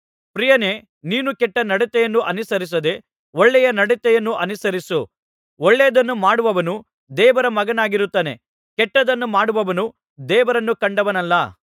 ಪ್ರಿಯನೇ ನೀನು ಕೆಟ್ಟ ನಡತೆಯನ್ನು ಅನುಸರಿಸದೆ ಒಳ್ಳೆಯ ನಡತೆಯನ್ನು ಅನುಸರಿಸು ಒಳ್ಳೆಯದನ್ನು ಮಾಡುವವನು ದೇವರ ಮಗನಾಗಿರುತ್ತಾನೆ ಕೆಟ್ಟದ್ದನ್ನು ಮಾಡುವವನು ದೇವರನ್ನು ಕಂಡವನಲ್ಲ